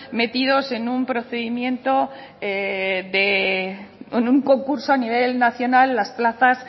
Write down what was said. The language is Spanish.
metidas en un procedimiento en un concurso a nivel nacional las plazas